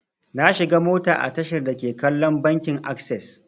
Na shiga mota a tashar dake kallon bankin akses.